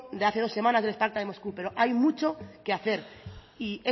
de hace dos semanas del spartak de moscú pero hay mucho que hacer y